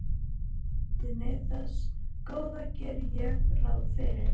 Samkvæmt beiðni þess Góða geri ég ráð fyrir.